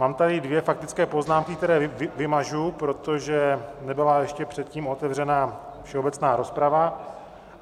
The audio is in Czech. Mám tady dvě faktické poznámky, které vymažu, protože nebyla ještě předtím otevřena všeobecná rozprava.